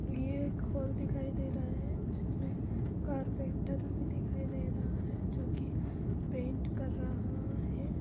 ये एक हाल दिखाई दे रहा है। जिसमे कारपेंटर भी दिखाई दे रहा है। जो की पैंट कर रहा हैं।